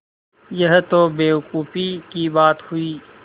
यह तो बेवकूफ़ी की बात हुई